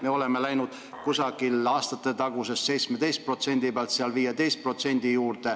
Me oleme jõudnud aastatetaguse 17% pealt 15% juurde ...